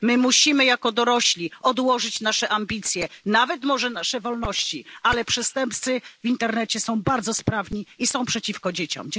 My musimy jako dorośli odłożyć nasze ambicje, nawet może i nasze wolności, bo przestępcy w internecie są bardzo sprawni i są przeciwko dzieciom.